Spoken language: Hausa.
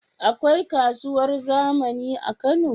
Akwai kasuwar zamani a kano?